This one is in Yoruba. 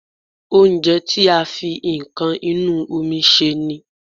Oúnjẹ tí a fi nǹkan inú omi sè ni